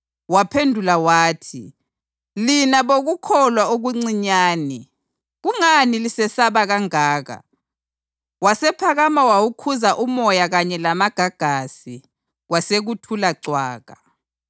Waphendula wathi, “Lina bokukholwa okuncinyane, kungani lisesaba kangaka?” Wasephakama wawukhuza umoya kanye lamagagasi, kwasekuthula cwaka.